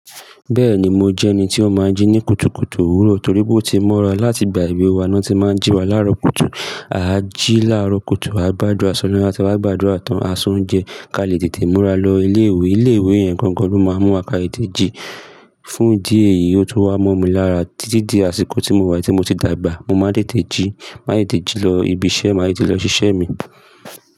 Bẹ́ẹ̀ni mo jẹ́ ẹni tí ó máa ń jí ní kùtùkùtù òwúrọ̀ torí pé ó ti mọ́ra láti ìgbà èwe wa ni won tí màá ń jí wa laaro kùtù. A jí laaro kùtù, a gbàdúrà s'olohun, tí a ba ti wá gbàdúrà tán, a se ounjejẹ kí a lè tètè múra lọ ilé ìwé. Ilé ìwé yẹn gan gán lọ máa ń mú wa ká tètè jí. Fún idi èyíi, ó tun wá mọ́ mi lára títí di àsìkò tí mo wá yii, ti mo ti dàgbà. Mo máa ń tètè jí, máa tètè ji lọ ibi iṣẹ́, máa tètè lọ ṣíṣẹ́ mi.